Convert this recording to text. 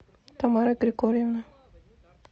тамары григорьевны